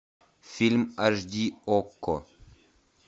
фильм аш ди окко